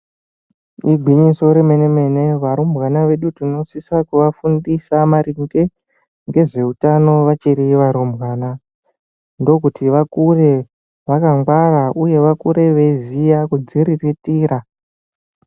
Igwinyiso remene-mene arumbwana vedu tinosisa kuafundisa maringe ngezvehutano vachiri varumbwana. Ndokuti vakure vakangwara uye vakure veiziya kudziriritira.